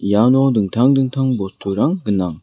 iano dingtang dingtang bosturang gnang.